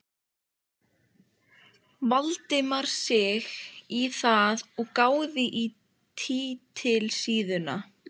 Valdimar sig í það og gáði á titilsíðuna.